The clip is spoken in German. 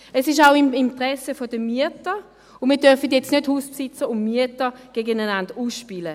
Es ist auch im Interesse der Mieter, und wir dürfen jetzt nicht Hausbesitzer und Mieter gegeneinander ausspielen.